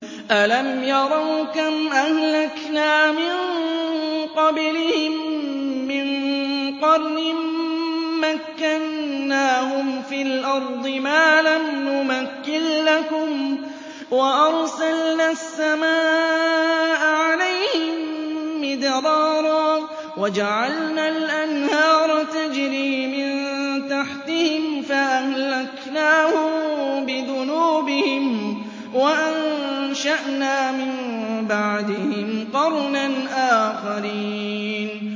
أَلَمْ يَرَوْا كَمْ أَهْلَكْنَا مِن قَبْلِهِم مِّن قَرْنٍ مَّكَّنَّاهُمْ فِي الْأَرْضِ مَا لَمْ نُمَكِّن لَّكُمْ وَأَرْسَلْنَا السَّمَاءَ عَلَيْهِم مِّدْرَارًا وَجَعَلْنَا الْأَنْهَارَ تَجْرِي مِن تَحْتِهِمْ فَأَهْلَكْنَاهُم بِذُنُوبِهِمْ وَأَنشَأْنَا مِن بَعْدِهِمْ قَرْنًا آخَرِينَ